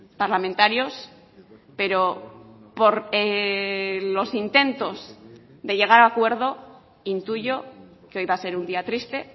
parlamentarios pero por los intentos de llegar a acuerdo intuyo que hoy va a ser un día triste